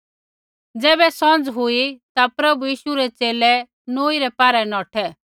ज़ैबै सौंझ़ हुई ता प्रभु यीशु रै च़ेले नौई पारै नौठै